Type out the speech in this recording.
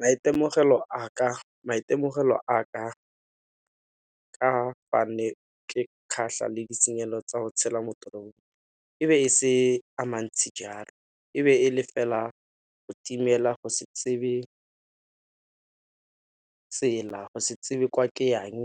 Maitemogelo a ka, ka fa ne ke le ditshenyegelo tsa go tshela mo e ne e se amantsi jalo e be e le fela go timela go se tsebe tsela, go se tsebe kwa ke yang